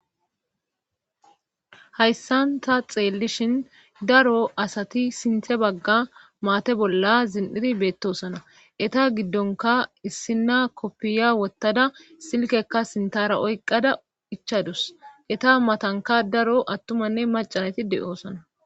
Hayssanta xeellishin daro asati sinthe bagga maate bolla zin7iri beettosana eta giddonka issina koppiya wottada silkekka sintara oyqada ichadus eta matanka daro attumanne macanati de7oosana